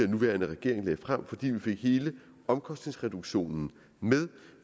nuværende regering lagde frem fordi vi fik hele omkostningsreduktionen med